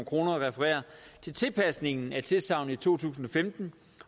kroner refererer til tilpasningen af tilsagnet i to tusind og femten